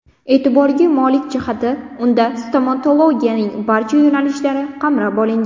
E’tiborga molik jihati, unda stomatologiyaning barcha yo‘nalishlari qamrab olingan.